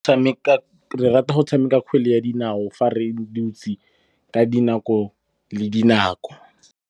Re rata go tshameka kgwele ya dinao fa re dutse ka dinako le dinako.